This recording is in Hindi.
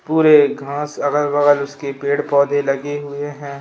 पूरे घास उसके अगल-बगल पेड़-पौधे लगे हुए हैं।